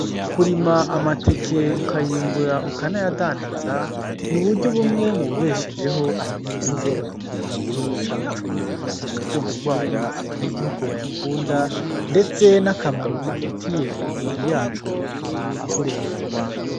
Kurima amateke, ukayimbura ukanayadandaza ni uburyo bumwe mu bibeshejeho abanyagihugu b'abarimyi mu gihugu cacu, urukundo rwayo abanyagihugu bayakunda ndetse n'akamaro afitiye imibiri yacu bituma ahurumbirwa.